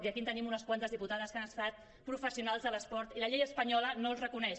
i aquí tenim unes quantes diputades que han estat professionals de l’esport i la llei espanyola no les reconeix